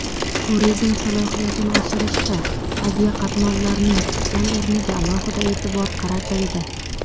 Turizm salohiyatini oshirishda aviaqatnovlarning tutgan o‘rniga alohida e’tibor qaratildi.